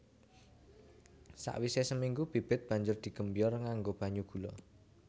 Sakwisé seminggu bibit banjur digembyor nganggo banyu gula